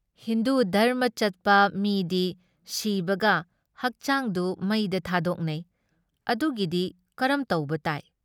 ꯍꯤꯟꯗꯨ ꯙꯔꯝꯃ ꯆꯠꯄ ꯃꯤꯗꯤ ꯁꯤꯕꯒ ꯍꯛꯆꯥꯡꯗꯨ ꯃꯩꯗ ꯊꯥꯗꯣꯛꯅꯩ ꯫ ꯑꯗꯨꯒꯤꯗꯤ ꯀꯔꯝ ꯇꯧꯕ ꯇꯥꯏ?